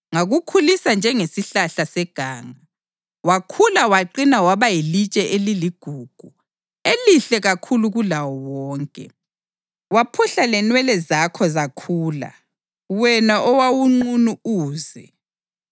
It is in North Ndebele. Ngakukhulisa njengesihlahla seganga. Wakhula waqina waba yilitshe eliligugu elihle kakhulu kulawo wonke. Waphuhla lenwele zakho zakhula, wena owawunqunu uze.